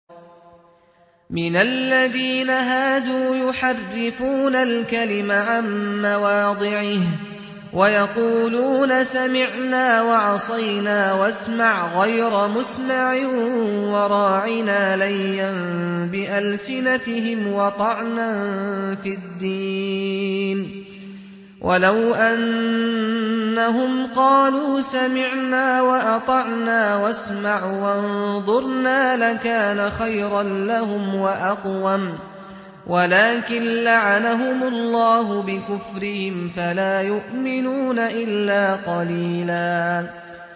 مِّنَ الَّذِينَ هَادُوا يُحَرِّفُونَ الْكَلِمَ عَن مَّوَاضِعِهِ وَيَقُولُونَ سَمِعْنَا وَعَصَيْنَا وَاسْمَعْ غَيْرَ مُسْمَعٍ وَرَاعِنَا لَيًّا بِأَلْسِنَتِهِمْ وَطَعْنًا فِي الدِّينِ ۚ وَلَوْ أَنَّهُمْ قَالُوا سَمِعْنَا وَأَطَعْنَا وَاسْمَعْ وَانظُرْنَا لَكَانَ خَيْرًا لَّهُمْ وَأَقْوَمَ وَلَٰكِن لَّعَنَهُمُ اللَّهُ بِكُفْرِهِمْ فَلَا يُؤْمِنُونَ إِلَّا قَلِيلًا